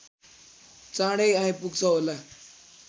चाँडै आइपुग्छ होला